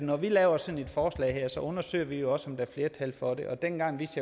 at når vi laver sådan et forslag her så undersøger vi også om der er flertal for det og dengang vidste